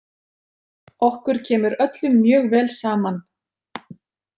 Okkur kemur öllum mjög vel saman.